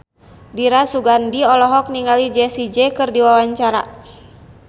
Dira Sugandi olohok ningali Jessie J keur diwawancara